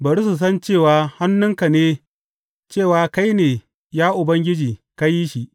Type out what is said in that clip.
Bari su san cewa hannunka ne, cewa kai ne, ya Ubangiji, ka yi shi.